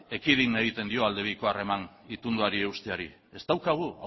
ekidin egiten dio aldebiko harreman itunduari eusteari ez daukagu